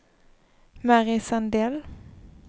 Mary Sandell